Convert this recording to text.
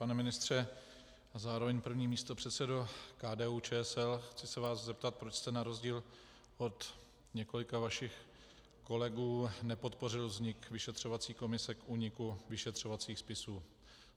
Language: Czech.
Pane ministře a zároveň první místopředsedo KDU-ČSL, chci se vás zeptat, proč jste na rozdíl od několika vašich kolegů nepodpořil vznik vyšetřovací komise k úniku vyšetřovacích spisů.